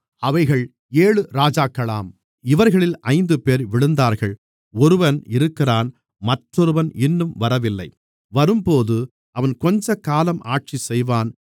அவைகள் ஏழு ராஜாக்களாம் இவர்களில் ஐந்துபேர் விழுந்தார்கள் ஒருவன் இருக்கிறான் மற்றவன் இன்னும் வரவில்லை வரும்போது அவன் கொஞ்சக்காலம் ஆட்சி செய்வான்